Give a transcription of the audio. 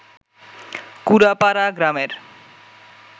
কুড়ারপাড়া গ্রামের